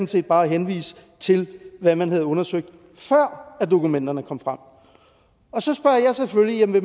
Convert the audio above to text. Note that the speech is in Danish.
set bare at henvise til hvad man havde undersøgt før dokumenterne kom frem så spørger jeg selvfølgelig